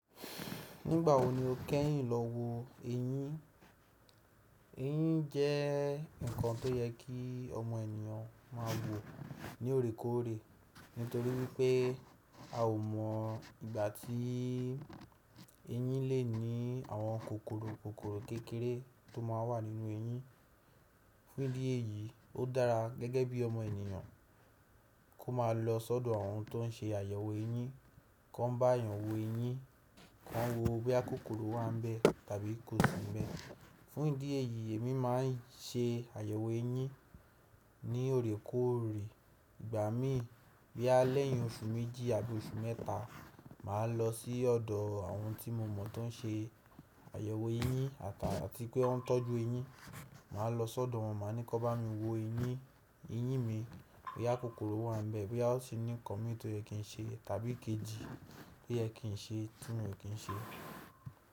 Nígbà wo ni o kẹ́yìn lọ wo eyín? Eyín jẹ́ nǹkan tó yẹ kí ọmọ ènìyàn máa wò ní òorékòorè nítorí wípé a ò mọ̀ ìgbà tí eyín lè ní àwọn kòkòrò kékèré tó máà wà nínú eyín. Fún ìdí èyí ó dára gẹ́gẹ́ bí ọmọ ènìyàn kó máa lọ sọ́dọ̀ àwọn tó n ṣe àyẹ̀wò eyín kan bá a yàn wo eyín, kí wọ́n wo bó bá kòkòrò wà níbẹ̀ tàbí kò sí níbẹ̀. Fún ìdí èyí èmi máa n ṣe àyẹ̀wò eyín ní òrékòrè. Ìgbà mí bí i alẹ́yìn oṣù méjì àbí oṣù mẹ́ta màá lọ sí ọ̀dọ̀ àwọn tí mo mọ̀ tó n ṣe àyẹ̀wò eyín àtà tí pé wọ́n ń tọ́jú eyín. Màá lọ sọ́dọ̀ wọn, màá ní kọ́ bá mi wo eyín, eyín mi bó yá kòkòrò wà nbẹ̀, bó yá ó sì ní nǹkan mí tó yẹ kí n ṣe tàbí kejì bó yẹ kí n ṣe ti miò kí n ṣe.